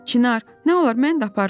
Çinar, nə olar mən də apar da.